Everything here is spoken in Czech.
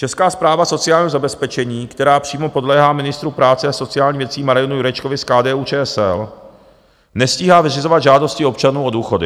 Česká správa sociálního zabezpečení, která přímo podléhá ministru práce a sociálních věcí Marianu Jurečkovi z KDU-ČSL, nestíhá vyřizovat žádosti občanů o důchody.